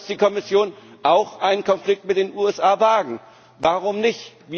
Da muss die Kommission auch einen Konflikt mit den USA wagen. Warum nicht?